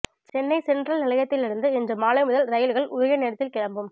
Chennai central நிலையத்திலிருந்து இன்று மாலை முதல் ரயில்கள் உரிய நேரத்தில் கிளம்பும்